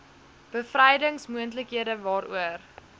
bevrydings moontlikhede waaroor